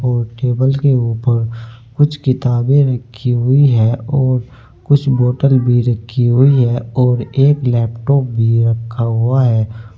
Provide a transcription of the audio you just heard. और टेबल के ऊपर कुछ किताबें रखी हुई है और कुछ बोतल भी रखी हुई है और एक लैपटॉप भी रखा हुआ है।